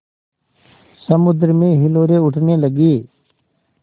समुद्र में हिलोरें उठने लगीं